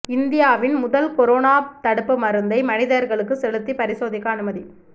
இந்தியாவின் முதல் கொரோனா தடுப்பு மருந்தை மனிதர்களுக்குச் செலுத்தி பரிசோதிக்க அனுமதி